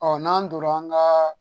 n'an donna an ka